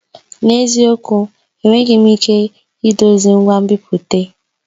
N'eziokwu! Enweghị m ike idozi ngwa nbipute.